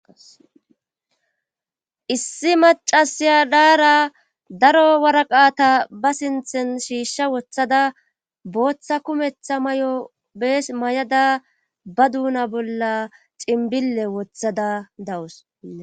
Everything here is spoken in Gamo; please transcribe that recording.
Issi macasiya daara daro waraqata ba sinthen shiishsha woththada booththa kumetha mayo bees mayada ba duuna bolla cinbille wothada dawus.